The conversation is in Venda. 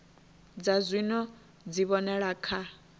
dza zwino dzi vhonala kha